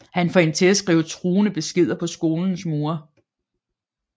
Han får hende også til at skrive truende beskeder på skolens mure